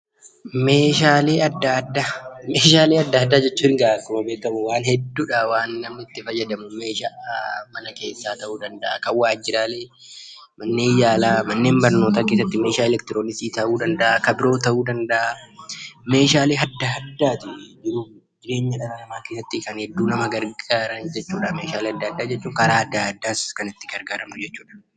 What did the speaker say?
Meeshaalee adda addaa jechuun egaa akkuma beekamu waan hedduudha meeshaalee namni itti fayyadamu meeshaalee mana keessaa, waajjiraalee, manneen yaalaa, manneen barnootaa keessatti meeshaalee elektirooniksii ta'uu danda'a. Kan biroo ta'uu danda'a. Meeshaalee adda addaa jiruu fi jireenya dhala namaa keessatti kan hedduu nama gargaaran jechuudha meeshaalee adda addaa jechuun karaa adda addaas kan itti gargaaramnu jechuudha.